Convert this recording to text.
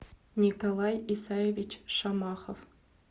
николай исаевич шамахов